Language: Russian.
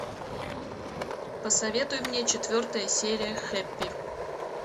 посоветуй мне четвертая серия хэппи